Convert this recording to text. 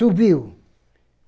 Subiu.